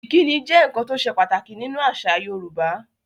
Ìkíni jẹ́ nkan tó sè pàtàkì ní nú àṣà Yorùbá